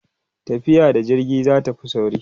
tafiya da jirgi zatafi sauri